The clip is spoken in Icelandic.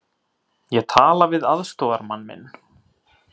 Ég tala við aðstoðarmann minn.